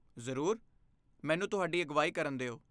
ਜ਼ਰੂਰ, ਮੈਨੂੰ ਤੁਹਾਡੀ ਅਗਵਾਈ ਕਰਨ ਦਿਓ।